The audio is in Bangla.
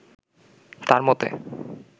তার মতে